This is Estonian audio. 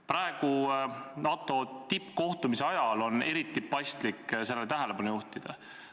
Praegu, NATO tippkohtumise ajal, on eriti paslik sellele tähelepanu juhtida.